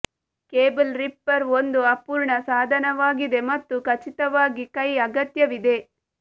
cable ripper ಒಂದು ಅಪೂರ್ಣ ಸಾಧನವಾಗಿದೆ ಮತ್ತು ಖಚಿತವಾಗಿ ಕೈ ಅಗತ್ಯವಿದೆ